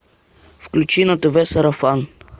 включи на тв сарафан